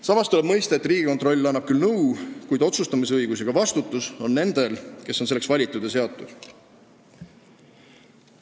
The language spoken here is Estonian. Samas tuleb mõista, et Riigikontroll annab küll nõu, kuid otsustamisõigus ja ka vastutus on nendel, kes on selleks valitud ja seatud.